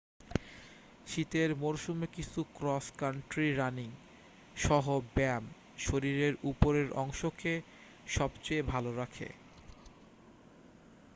শীতের মরসুমে কিছু ক্রস কান্ট্রি রানিং-সহ ব্যায়াম শরীরের উপরের অংশকে সবচেয়ে ভাল রাখে